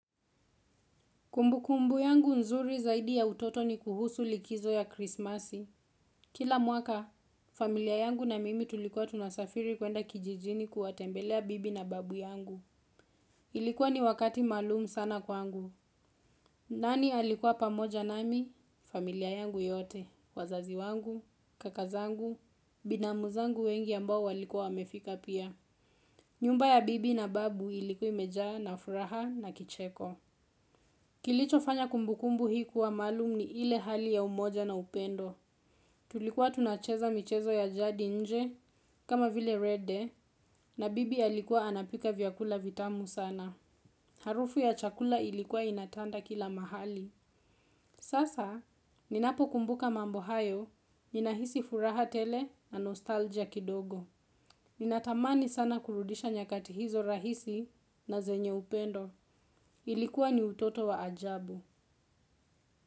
Kumbukumbu yangu nzuri zaidi ya utoto ni kuhusu likizo ya krisimasi. Kila mwaka, familia yangu na mimi tulikuwa tunasafiri kuenda kijijini kuwatembelea bibi na babu yangu. Ilikuwa ni wakati maalum sana kwangu. Nani alikuwa pamoja nami, familia yangu yote, wazazi wangu, kaka zangu, binamu zangu wengi ambao walikuwa wamefika pia. Nyumba ya bibi na babu ilikua imejawa na furaha na kicheko. Kilicho fanya kumbukumbu hii kuwa maalum ni ile hali ya umoja na upendo. Tulikuwa tunacheza michezo ya jadi nje kama vile red day na bibi alikuwa anapika vyakula vitamu sana. Harufu ya chakula ilikuwa inatanda kila mahali. Sasa ninapokumbuka mambo hayo ninahisi furaha tele na nostalgia kidogo. Ninatamani sana kurudisha nyakati hizo rahisi na zenye upendo ilikuwa ni utoto wa ajabu.